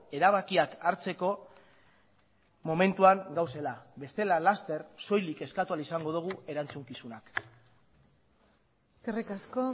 erabakiak hartzeko momentuan gaudela bestela laster soilik eskatu ahal izango dugu erantzukizunak eskerrik asko